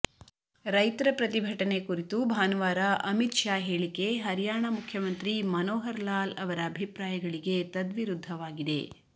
ರೈತರ ಪ್ರತಿಭಟನೆ ಕುರಿತು ಭಾನುವಾರ ಅಮಿತ್ ಶಾ ಹೇಳಿಕೆ ಹರಿಯಾಣ ಮುಖ್ಯಮಂತ್ರಿ ಮನೋಹರ್ ಲಾಲ್ ಅವರ ಅಭಿಪ್ರಾಯಗಳಿಗೆ ತದ್ವಿರುದ್ಧವಾಗಿದೆ